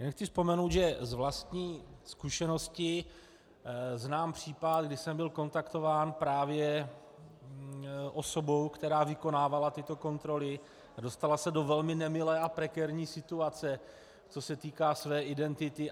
Jen chci vzpomenout, že z vlastní zkušenosti znám případ, kdy jsem byl kontaktován právě osobou, která vykonávala tyto kontroly a dostala se do velmi nemilé a prekérní situace, co se týká své identity.